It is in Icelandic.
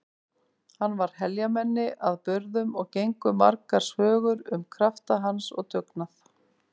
Hann var heljarmenni að burðum og gengu margar sögur um krafta hans og dugnað.